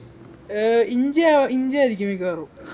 ഏർ ഇഞ്ചിയാ ഇഞ്ചിയായിരിക്കും മിക്കവാറും